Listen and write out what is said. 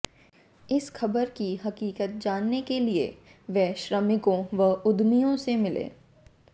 इस खबर की हकीकत जानने के लिए वे श्रमिकों व उद्यमियों से मिले